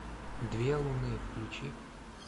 две луны включи